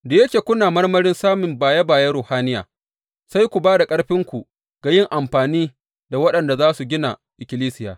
Da yake kuna marmarin samun baye bayen ruhaniya, sai ku ba da ƙarfinku ga yin amfani da waɗanda za su gina ikkilisiya.